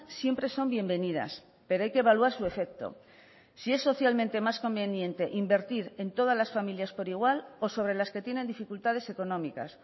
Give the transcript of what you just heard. siempre son bienvenidas pero hay que evaluar su efecto si es socialmente más conveniente invertir en todas las familias por igual o sobre las que tienen dificultades económicas